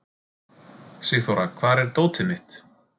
Sigþóra, hvar er dótið mitt?